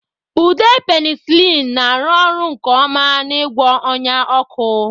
Ude penicillin na-arụ ọrụ nke ọma n'ịgwọ ọnya ọkụ.